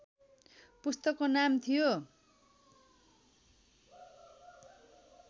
पुस्तकको नाम थियो